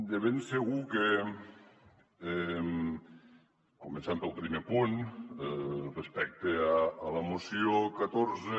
de ben segur que començant pel primer punt respecte a la moció catorze